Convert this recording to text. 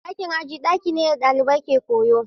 Ɗakin aji ɗaki ne da ɗalibai ke koyo.